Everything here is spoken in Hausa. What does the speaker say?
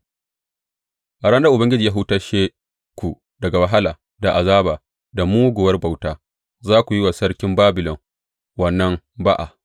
A ranar da Ubangiji ya hutashe ku daga wahala da azaba da muguwar bauta, za ku yi wa sarkin Babilon wannan ba’a.